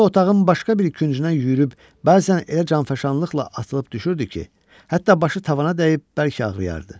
Bu dəfə otağın başqa bir küncündən yüyürüb bəzən elə canfəşanlıqla atılıb düşürdü ki, hətta başı tavana dəyib bəlkə ağrıyardı.